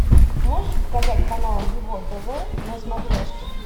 можешь показать канал его тв на смотрешке